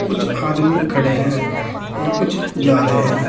कुछ आदमी खड़े हैं और कुछ जा रहे हैं।